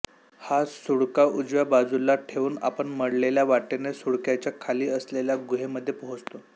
हा सुळका उजव्या बाजूला ठेवून आपण मळलेल्या वाटेने सुळक्याच्या खाली असलेल्या गुहेमध्ये पोहोचतो